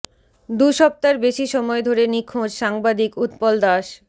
দু সপ্তার বেশি সময় ধরে নিখোঁজ সাংবাদিক উৎপল দাস